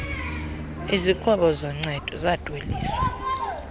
izixhobo zoncedo zidweliswa